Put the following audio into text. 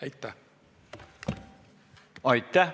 Aitäh!